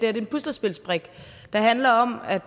er en puslespilsbrik der handler om at